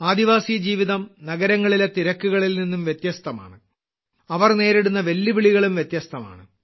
ആദിവാസി ജീവിതം നഗരങ്ങളിലെ തിരക്കുകളിൽ നിന്നും വ്യത്യസ്തമാണ് അവർ നേരിടുന്ന വെല്ലുവിളികളും വ്യത്യസ്തമാണ്